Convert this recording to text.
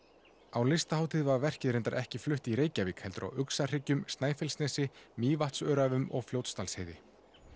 á Listahátíð var verkið reyndar ekki flutt í Reykjavík heldur á Snæfellsnesi Mývatnsöræfum og Fljótsdalsheiði